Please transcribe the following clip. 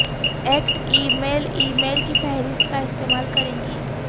act email email کی فہرست کا استعمال کریں